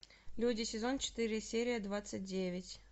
люди сезон четыре серия двадцать девять